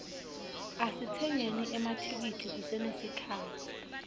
asitsengeni emathikithi kusenesikhatsi